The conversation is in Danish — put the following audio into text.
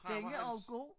Den er også god